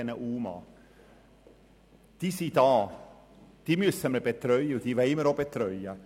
Sie sind hier, wir müssen sie betreuen, und wir wollen sie auch betreuen.